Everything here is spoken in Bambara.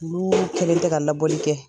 Olu kɛlen tɛ labɔli kɛ